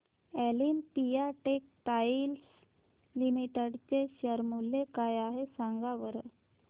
Olympia textiles limited चे share मूल्य काय आहे सांगा बरं